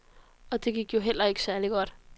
Og det gik jo heller ikke særlig godt.